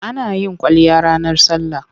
Ana yin kwalliya ranar sallah.